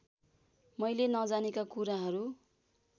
मैले नजानेका कुराहरु